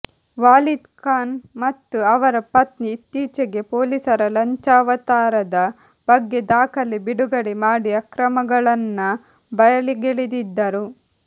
Walid Khan ಮತ್ತು ಅವರ ಪತ್ನಿ ಇತ್ತೀಚೆಗೆ ಪೊಲೀಸರ ಲಂಚಾವತಾರದ ಬಗ್ಗೆ ದಾಖಲೆ ಬಿಡುಗಡೆ ಮಾಡಿ ಅಕ್ರಮಗಳನ್ನ ಬಯಲಿಗೆಳೆದಿದ್ದರು